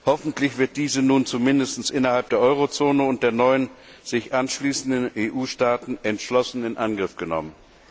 Hoffentlich wird dies nun zumindest innerhalb der Eurozone und der neuen sich anschließenden EU Staaten entschlossen in Angriff genommen.